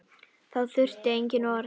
Þá þurfti engin orð.